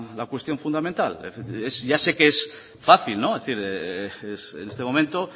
la cuestión fundamental ya sé que es fácil decir en este momento